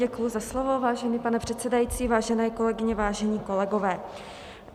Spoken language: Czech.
Děkuji za slovo, vážený pane předsedající, vážené kolegyně, vážení kolegové.